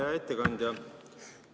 Hea ettekandja!